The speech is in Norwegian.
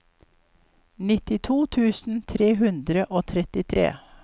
nittito tusen tre hundre og trettitre